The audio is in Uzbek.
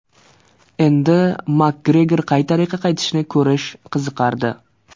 Endi Makgregor qay tariqa qaytishini ko‘rish qiziqardi.